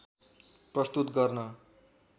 प्रस्तुत गर्न